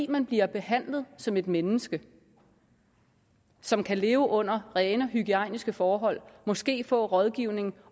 man bliver behandlet som et menneske som kan leve under rene og hygiejniske forhold og måske få rådgivning